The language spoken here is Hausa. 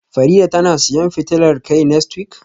Farida tana siyan fitilar kai next week,?